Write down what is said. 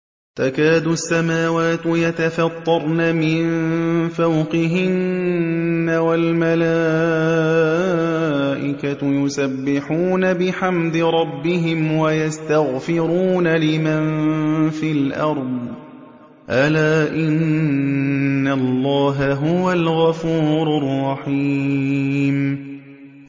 تَكَادُ السَّمَاوَاتُ يَتَفَطَّرْنَ مِن فَوْقِهِنَّ ۚ وَالْمَلَائِكَةُ يُسَبِّحُونَ بِحَمْدِ رَبِّهِمْ وَيَسْتَغْفِرُونَ لِمَن فِي الْأَرْضِ ۗ أَلَا إِنَّ اللَّهَ هُوَ الْغَفُورُ الرَّحِيمُ